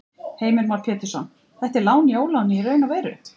Heimir Már Pétursson: Þetta er lán í óláni í raun og veru?